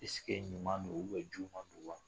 ɛsigi ɲuman don u bɛ juguman don wa